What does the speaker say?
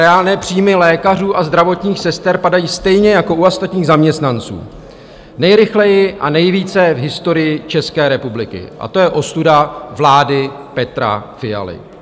Reálné příjmy lékařů a zdravotních sester padají stejně jako u ostatních zaměstnanců, nejrychleji a nejvíce v historii České republiky, a to je ostuda vlády Petra Fialy.